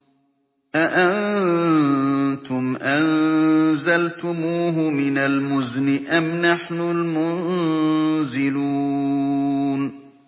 أَأَنتُمْ أَنزَلْتُمُوهُ مِنَ الْمُزْنِ أَمْ نَحْنُ الْمُنزِلُونَ